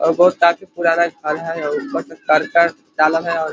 और बोहोत साल से काफी पुराना खाना है और ऊपर से कर्कट डाला है और --